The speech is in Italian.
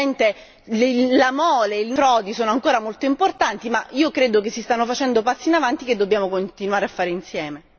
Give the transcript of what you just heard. Certamente il livello delle frodi è ancora molto importante ma io credo che si stiano facendo passi in avanti che dobbiamo continuare a fare insieme.